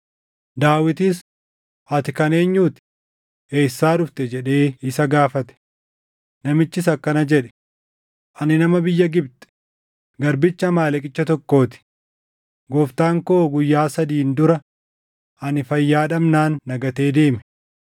Daawitis, “Ati kan eenyuu ti? Eessaa dhufte?” jedhee isa gaafate. Namichis akkana jedhe; “Ani nama biyya Gibxi; garbicha Amaaleqicha tokkoo ti. Gooftaan koo guyyaa sadiin dura ani fayyaa dhabnaan na gatee deeme.